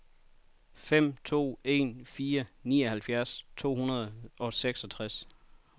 fem to en fire nioghalvfjerds to hundrede og seksogtres